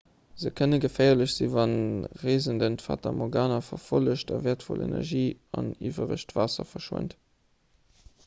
se kënne geféierlech sinn wann de reesenden d'fata morgana verfollegt a wäertvoll energie an iwweregt waasser verschwent